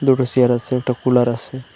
দুটো চেয়ার আসে একটা কুলার আসে।